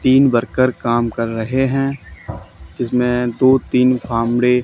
तीन वर्कर काम कर रहे हैं जिसमें दो तीन कामड़े--